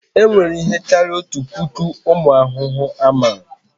E nwere ihe karịrị otu puku ụmụ ahụhụ a mara